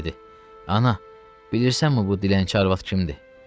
Dedi: Ana, bilirsənmi bu dilənçi arvad kimdir?